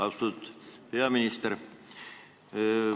Austatud peaminister!